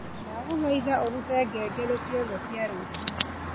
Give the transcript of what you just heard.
ndagũthaitha ũrute ngengere ciothe cia rũcio